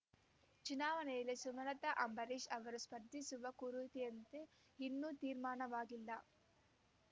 ಚುನಾವಣೆಯಲ್ಲಿ ಸುಮಲತಾ ಅಂಬರೀಷ್ ಅವರು ಸ್ಪರ್ಧಿಸುವ ಕುರಿತಂತೆ ಇನ್ನೂ ತೀರ್ಮಾನವಾಗಿಲ್ಲ